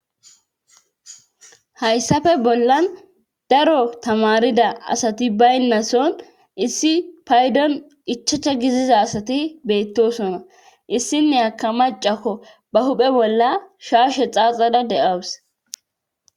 Hayssafe bollan daro tamarida asati baynnason issi paydon ichacha giziza asati beettosona issinne aka macakko ba huphe bolla shaushe xaaxada de'awus .